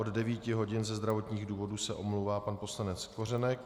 Od 9 hodin ze zdravotních důvodů se omlouvá pan poslanec Kořenek.